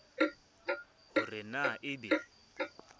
ho re na e be